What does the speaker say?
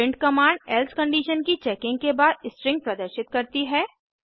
print command else condition की checking के बाद स्ट्रिंग प्रदर्शित करती है